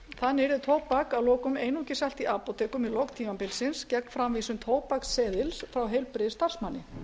þannig yrði tóbak einungis selt í apótekum í lok tímabilsins gegn framvísun tóbaksseðils frá heilbrigðisstarfsmanni